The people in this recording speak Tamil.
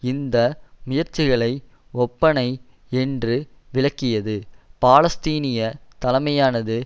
இந்த முயற்சிகளை ஒப்பனை என்று விலக்கியது பாலஸ்தீனிய தலைமையானது